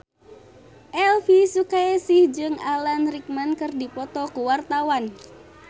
Elvy Sukaesih jeung Alan Rickman keur dipoto ku wartawan